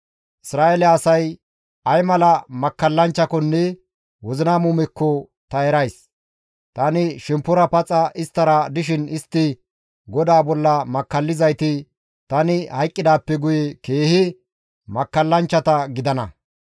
Isra7eele asay ay mala makkallanchchakonne wozina muumekko ta erays; tani shemppora paxa isttara dishin istti GODAA bolla makkallizayti tani hayqqidaappe guye keehi makkallanchchata gidana.